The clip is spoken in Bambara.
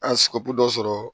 An sigɛrɛti dɔ sɔrɔ